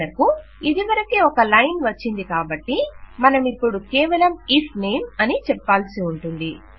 మనకు ఇదివరకే ఒక లైన్ వచ్చింది కాబట్టి మనమిపుడు కేవలం ఇఫ్ నేమ్ అని చెప్పాల్సి ఉంటుంది